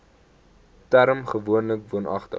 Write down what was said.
term gewoonlik woonagtig